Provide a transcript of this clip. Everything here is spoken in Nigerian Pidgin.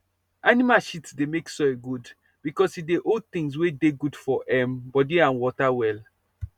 animal shit dey make soil good because e dey hold things wey dey good for um body and water well